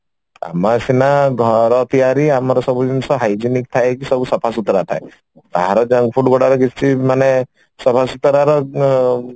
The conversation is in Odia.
ଆମର ସିନା ଘର ତିଆରି ଆମର ସବୁ ଜିନିଷ Hygienic ଥାଏ କି ସବୁ ସଫା ସୁତୁରା ଥାଏ ବାହାର junk food ଗୁଡାକ ମାନେ ସଫସୁତୁରା ର